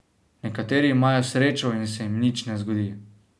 Nekateri imajo srečo in se jim nič ne zgodi.